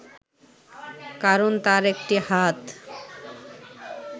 কারণ তার একটি হাত